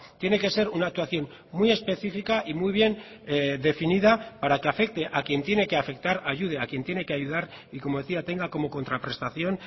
tiene que ser una actuación muy específica y muy bien definida para que afecte a quien tiene que afectar ayude a quien tiene que ayudar y como decía tenga como contraprestación